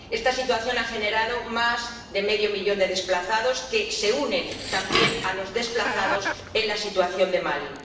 Esta situación ha generado más de medio millón de desplazados que se unen, también, a los desplazados por la situación de Mali.